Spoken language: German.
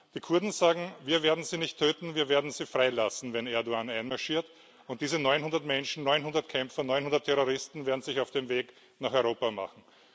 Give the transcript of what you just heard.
Die Kurden sagen Wir werden sie nicht töten, wir werden sie freilassen, wenn Erdoğan einmarschiert. Und diese 900 Menschen, 900 Kämpfer, 900 Terroristen werden sich auf den Weg nach Europa machen.